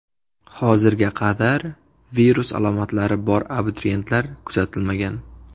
Hozirga qadar virus alomatlari bor abituriyentlar kuzatilmagan.